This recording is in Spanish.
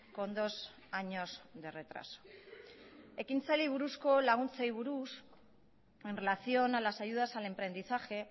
con dos años de retraso ekintzaileei buruzko laguntzei buruz en relación a las ayudas al emprendizaje